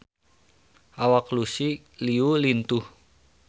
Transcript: Awak Lucy Liu lintuh